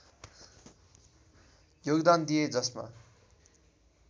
योगदान दिए जसमा